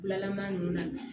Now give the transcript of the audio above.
Bilalama ninnu na